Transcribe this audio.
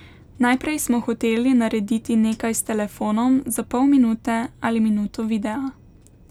Najprej smo hoteli narediti nekaj s telefonom za pol minute ali minuto videa.